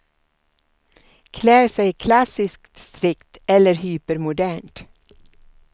Klär sig klassiskt strikt eller hypermodernt.